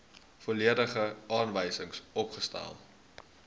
volledige aanwysings opgestel